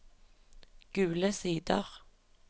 Gule Sider